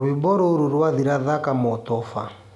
rwĩmbo rũrũ rwathira thaka motoba